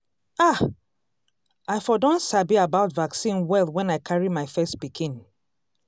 ah! i for don sabi about vaccine well when i carry my first pikin.